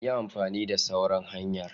Yi amfani da sauran hanyar.